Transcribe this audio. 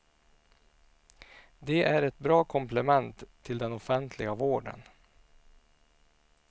De är ett bra komplement till den offentliga vården.